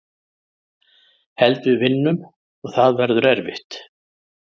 Held við vinnum og það verður erfitt.